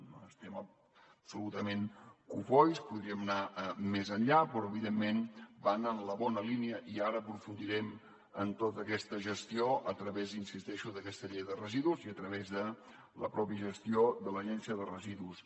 no n’estem absolutament cofois podríem anar més enllà però evidentment van en la bona línia i ara aprofundirem en tota aquesta gestió a través hi insisteixo d’aquesta llei de residus i a través de la mateixa gestió de l’agència de residus